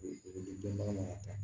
O bɛ di denba ma a ta